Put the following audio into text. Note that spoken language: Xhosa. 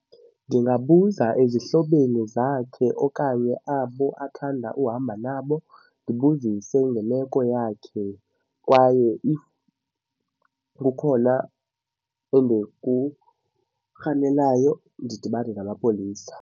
Ndingabuza ezihlobeni zakhe okanye abo athanda uhamba nabo ndibuzise ngemeko yakhe kwaye if kukhona endikurhalelayo ndidibane namapolisa.